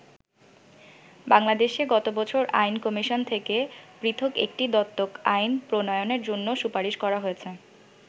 বাংলাদেশে গতবছর আইন কমিশন থেকে পৃথক একটি দত্তক আইন প্রণয়নের জন্য সুপারিশ করা হয়েছে।